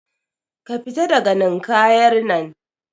ka fita daga Ninkayar nan